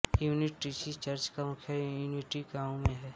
unity Church का मुख्यालय Unity गांव में है